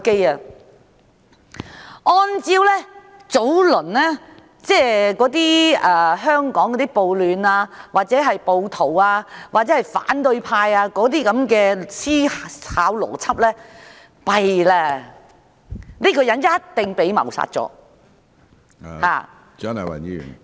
如果按照之前香港的暴徒或反對派的思考邏輯，糟糕了，這個人一定已被謀殺......